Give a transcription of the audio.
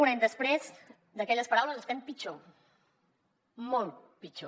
un any després d’aquelles paraules estem pitjor molt pitjor